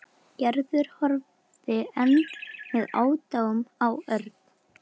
Gerður og horfði enn með aðdáun á Örn.